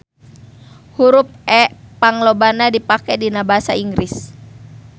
Hurup E panglobana dipake dina basa Inggris.